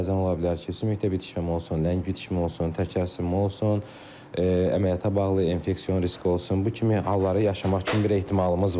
Bəzən ola bilər ki, sümükdə bitişmə olsun, ləng bitişmə olsun, təkər sıxımı olsun, əməliyyata bağlı infeksion riski olsun, bu kimi halları yaşamaq üçün bir ehtimalımız var.